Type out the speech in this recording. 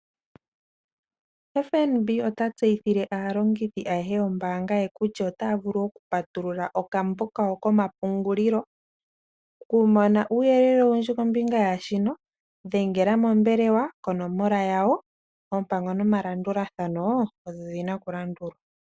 FNB ota tseyi thile aalongithi ayehe yo mbaanga ye kutya otaya vulu oku patulula okambo kawo komapungulilo. Okumona uuyele owundji kombinga yaa shino dhengela mombelewa konomola yawo. Oompango no malulathano odho dhina oku landulwa.